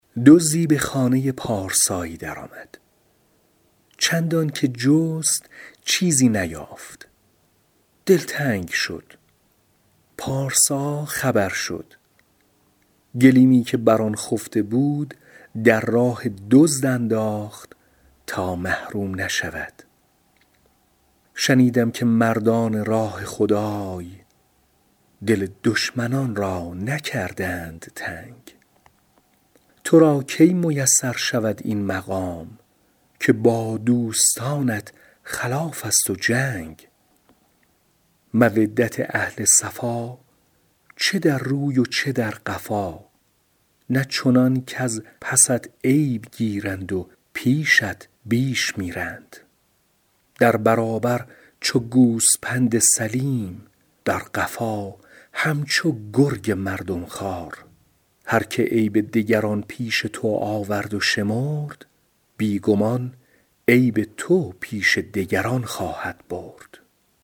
دزدی به خانه پارسایی در آمد چندان که جست چیزی نیافت دلتنگ شد پارسا خبر شد گلیمی که بر آن خفته بود در راه دزد انداخت تا محروم نشود شنیدم که مردان راه خدای دل دشمنان را نکردند تنگ تو را کی میسر شود این مقام که با دوستانت خلاف است و جنگ مودت اهل صفا چه در روی و چه در قفا نه چنان کز پست عیب گیرند و پیشت بیش میرند در برابر چو گوسپند سلیم در قفا همچو گرگ مردم خوار هر که عیب دگران پیش تو آورد و شمرد بی گمان عیب تو پیش دگران خواهد برد